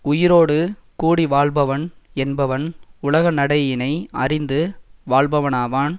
உயிரோடு கூடி வாழ்பவன் என்பவன் உலக நடையினை அறிந்து வாழ்பவனாவான்